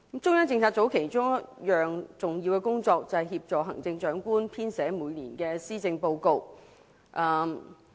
中央政策組其中一項重要工作，就是協助行政長官編寫每年的施政報告。